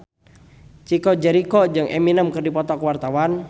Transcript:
Chico Jericho jeung Eminem keur dipoto ku wartawan